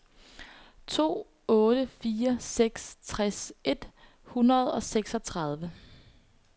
to otte fire seks tres et hundrede og seksogtredive